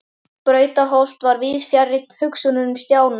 Brautarholt var víðs fjarri hugsunum Stjána.